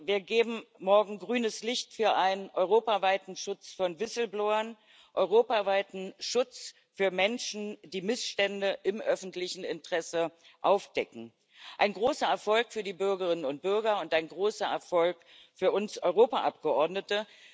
Wir geben morgen grünes Licht für einen europaweiten Schutz von Whistleblowern, europaweiten Schutz für Menschen, die Missstände im öffentlichen Interesse aufdecken ein großer Erfolg für die Bürgerinnen und Bürger und ein großer Erfolg für uns Europaabgeordnete.